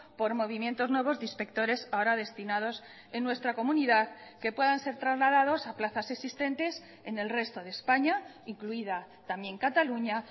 por movimientos nuevos de inspectores ahora destinados en nuestra comunidad que puedan ser trasladados a plazas existentes en el resto de españa incluida también cataluña